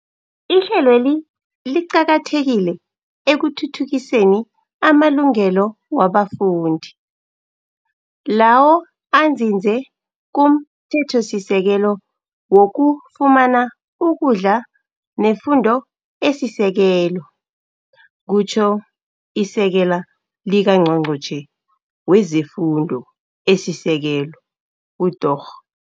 Ihlelweli liqakathekile ekuthuthukiseni amalungelo wabafundi, lawo anzinze kumThethosisekelo wokufumana ukudla nefundo esisekelo, kutjho iSekela likaNgqongqotjhe wezeFundo esiSekelo uDorh.